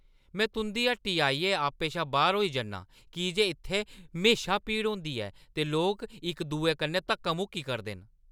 मैं तुंʼदी हट्टी आइयै आपे शा बाह्‌र होई जन्नां की जे इत्थै म्हेशां भीड़ होंदी ऐ ते लोक इक-दुए कन्नै धक्का-मुक्की करदे न।